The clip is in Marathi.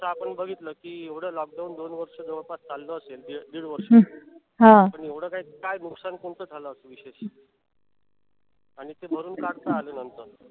जस आपण बघितल कि एवढ lockdown दोन वर्ष जवळपास चालल असेल एक दीड वर्ष पण एवढ काय नुकसान काय कोणत झालं असेल विशेष आणि ते भरून काढता आलं नाही.